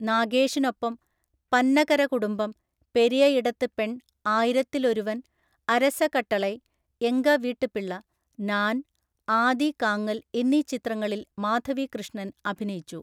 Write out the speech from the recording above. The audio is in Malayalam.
നാഗേഷിനൊപ്പം പന്നകര കുടുംബം, പെരിയ ഇടത്ത് പെണ്‍, ആയിരത്തിൽ ഒരുവൻ, അരസ കട്ടളൈ, എങ്ക വീട്ട് പിള്ള, നാൻ, ആദി കാങ്ങൽ എന്നീ ചിത്രങ്ങളിൽ മാധവി കൃഷ്ണൻ അഭിനയിച്ചു.